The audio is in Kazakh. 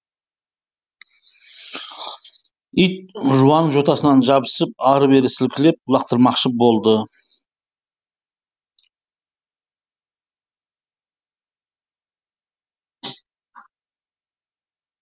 ит жуан жотасынан жабысып ары бері сілкілеп лақтырмақшы болды